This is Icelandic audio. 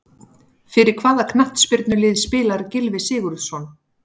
Fyrir hvaða knattspyrnulið spilar Gylfi Sigurðsson?